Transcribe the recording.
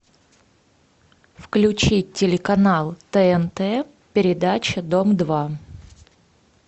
включи телеканал тнт передача дом два